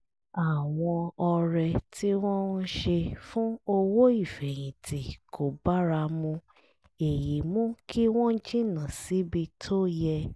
àwọn ọrẹ tí wọ́n ń ṣe fún owó ìfẹ̀yìntì kò bára mu èyí mú kí wọ́n jìnnà síbi tó yẹ